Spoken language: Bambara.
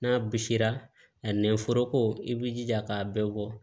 N'a bisira a nɛnforoko i b'i jija k'a bɛɛ bɔ